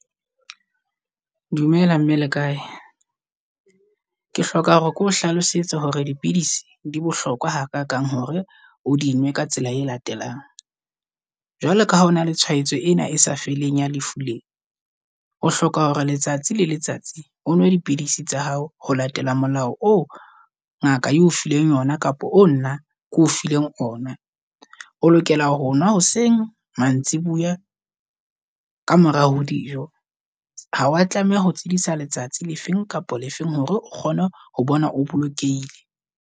Dumela mme, le kae? Ke hloka hore ke o hlalosetse hore dipidisi di bohlokwa ha kakang hore o di nwe ka tsela e latelang. Jwale ka ha o na le tsholwaetso ena e sa feleng ya lefu lee. O hloka hore letsatsi le letsatsi o nwa dipidisi tsa hao ho latela molao oo ngaka e o fileng yona, kapa oo nna keo fileng ona. O lokela honwa hoseng, mantsiboya ka mora ho dijo. Ha wa tlameha ho tlodisa letsatsi le feng kapa le feng hore o kgone ho bona, o bolokehile.